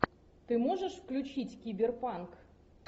ты можешь включить киберпанк